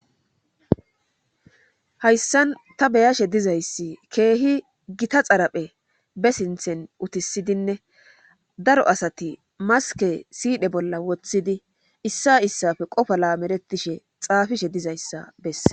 hayssan ta beyashe dizayssi keehi gita xaraphe be sinthen utisidinne daro asati maske siidhe bolla woththidi issa issafe qofa laameretishe xaafishe dizayssa bessees